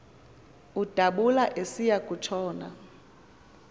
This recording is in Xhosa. udabula esiya kutshona